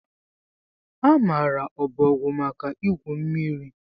A maara ọbọgwụ maka igwu mmiri